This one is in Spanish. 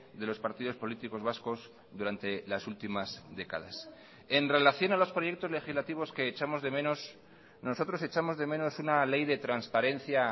de los partidos políticos vascos durante las últimas décadas en relación a los proyectos legislativos que echamos de menos nosotros echamos de menos una ley de transparencia